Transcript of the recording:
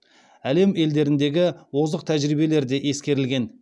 әлем елдеріндегі озық тәжірибелер де ескерілген